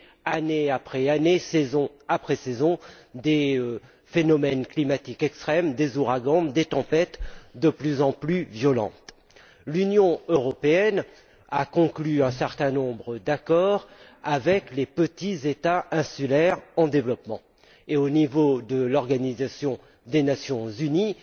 année après année, saison après saison, les phénomènes climatiques extrêmes, avec des ouragans et des tempêtes de plus en plus violentes. L'Union européenne a conclu un certain nombre d'accords avec les petits États insulaires en développement, et il existe également, au niveau de l'organisation des Nations unies